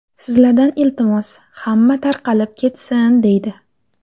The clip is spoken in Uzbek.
Sizlardan iltimos, hamma tarqalib ketsin”, deydi.